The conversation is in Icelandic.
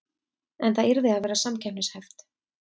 En það yrði að vera samkeppnishæft